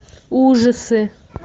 ужасы